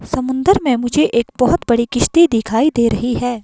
समुन्दर में मुझे एक बहोत बड़ी किस्ती दिखाई दे रही है।